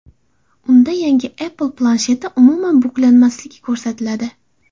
Unda yangi Apple plansheti umuman buklanmasligi ko‘rsatiladi.